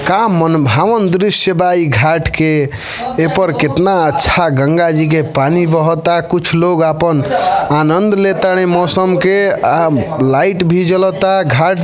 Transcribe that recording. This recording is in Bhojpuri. का मन भावन दृश्य बा ई घाट के। एपर केतना अच्छा गंगा जी के पानी बहता। कुछ लोग आपन आनंद ले ताड़े मौसम के आ लाइट भी जलता। घाट --